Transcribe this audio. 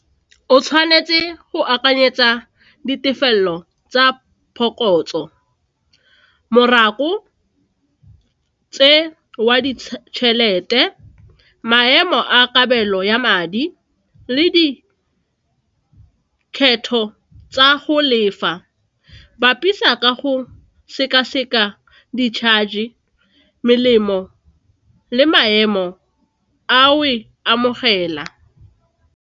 O tshwanetse go akanyetsa ditefelelo tsa phokotso morago tse wa ditšhelete, maemo a kabelo ya madi le dikgetho tsa go lefa, bapisa ka go seka-seka di-charge, melemo le maemo a o e amogela.